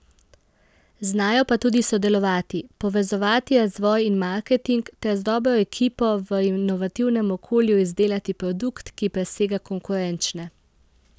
Znajo pa tudi sodelovati, povezovati razvoj in marketing ter z dobro ekipo v inovativnem okolju izdelati produkt, ki presega konkurenčne.